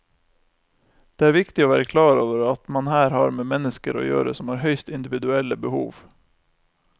Det er viktig å være klar over at man her har med mennesker å gjøre som har høyst individuelle behov.